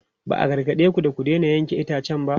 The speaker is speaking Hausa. Ba a gargade ku da ku daina yanke itacen ba?